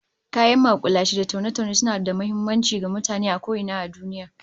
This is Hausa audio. Kayan makulashe da taune-taune suna da muhimmanci ga mutane a ko ina a duniya